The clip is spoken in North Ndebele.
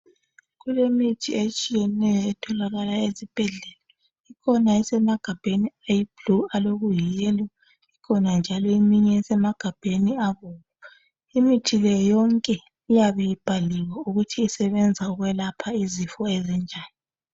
Kulemithi etshiyeneyo etholakala ezibhedlela, kukhona esemagabheni ayiblue alokuyiyellow, ikhona njalo eminye esemagabheni abomvu. Imithi le yonke iyabe ibhaliwe ukuthi isebenza ukwelapha izifo ezinjani.